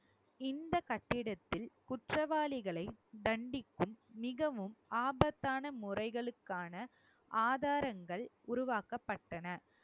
இந்த கட்டிடத்தில் குற்றவாளிகளை தண்டிக்கும் மிகவும் ஆபத்தான முறைகளுக்கான ஆதாரங்கள் உருவாக்கப்பட்டன